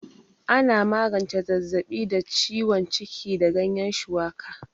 Ana magance zazzaɓi da ciwon ciki da ganyan shuwaka